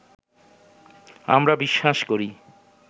আমরা বিশ্বাস করি